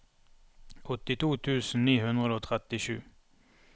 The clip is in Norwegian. åttito tusen ni hundre og trettisju